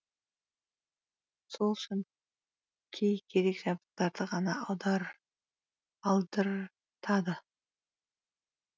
сол үшін кей керек жабдықтарды ғана алдыртады